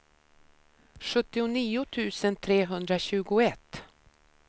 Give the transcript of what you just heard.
sjuttionio tusen trehundratjugoett